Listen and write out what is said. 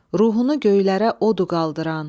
Ruhunu göylərə o du qaldıran.